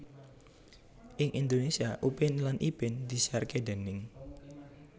Ing Indonesia Upin lan Ipin disiarake déning